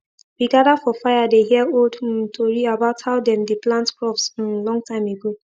we gather for fire dey hear old um tori about how dem dey plant crops um long time ago